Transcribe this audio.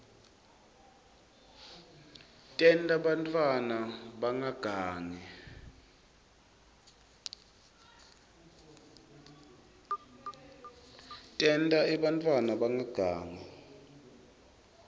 tenta bantfwana bangagangi